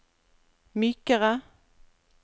mykere